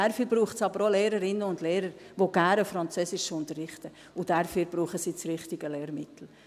Dazu braucht es aber auch Lehrerinnen und Lehrer, die gerne Französisch unterrichten, und dazu brauchen sie das richtige Lehrmittel.